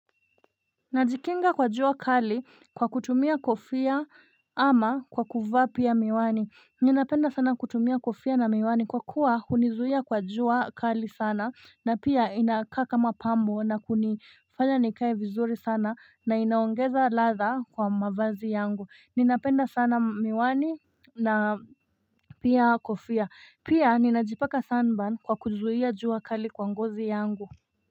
Najikinga kwa jua kali kwa kutumia kofia ama kwa kuvaa pia miwani. Ninapenda sana kutumia kofia na miwani kwa kuwa hunizuia kwa jua kali sana na pia inakaa kama pambo na kunifanya nikae vizuri sana na inaongeza ladha kwa mavazi yangu. Ninapenda sana miwani na pia kofia. Pia ninajipaka sun burn kwa kuzuia jua kali kwa ngozi yangu.